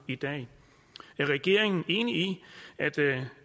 i dag er regeringen enig i at